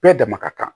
Bɛɛ dama ka kan